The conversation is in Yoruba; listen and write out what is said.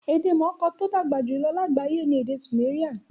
Ede mooko ti odagba ju lagbaye ni ede Sumerian